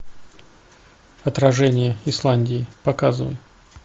отражение исландии показывай